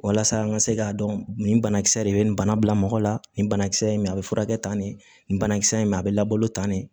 Walasa an ka se k'a dɔn nin banakisɛ de bɛ nin bana bila mɔgɔ la nin banakisɛ in mɛ a bɛ furakɛ tan ne bana kisɛ in ma a bɛ labalo tan de